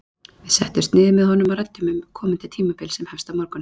Við settumst niður með honum og ræddum um komandi tímabil sem hefst á morgun.